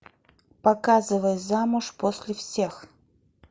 показывай замуж после всех